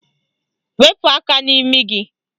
Wepu aka n'imi gị!